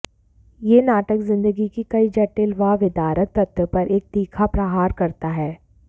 यह नाटक जिंदगी की गई जटिल व विदारक तथ्यों पर एक तीखा प्रहार करता है